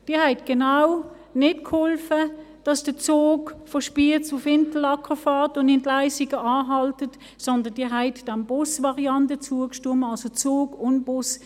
Sie haben genau nicht geholfen, dass der Zug von Spiez nach Interlaken fährt und in Leissigen anhält, sondern Sie haben der Bus-Variante zugestimmt, also Zug und Bus.